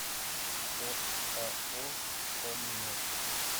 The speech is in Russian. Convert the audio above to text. оао оммет